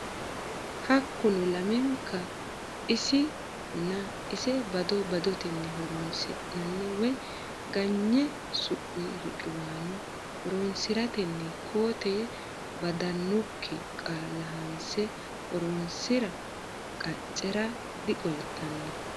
Hakkuno lamenka isi nna ise bado badotenni horonsi nanni woy ganyine sumi riqiwaano horonsi rantenni koo tee baddannokki qaalla hanse horonsi ra qaccera diqoltanno.